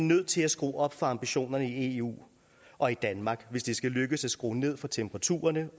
nødt til at skrue op for ambitionerne i eu og i danmark hvis det skal lykkes at skrue ned for temperaturerne